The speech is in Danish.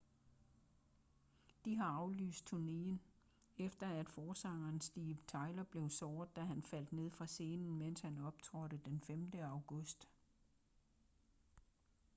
de har aflyst turnéen efter at forsanger steven tyler blev såret da han faldt ned fra scenen mens han optrådte den 5. august